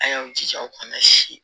An y'an jija u kana si